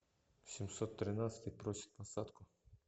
семьсот тринадцатый просит посадку